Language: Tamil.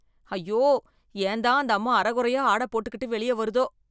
அய்யோ, ஏன்தான் அந்த அம்மா அரைகுறையா ஆடை போட்டுக்கிட்டு வெளிய வருதோ.